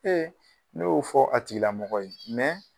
ne y'o fɔ a tigilamɔgɔ ye